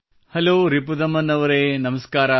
hello Ripudaman ಅವರೇ ನಮಸ್ಕಾರ